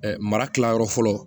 mara kilayɔrɔ fɔlɔ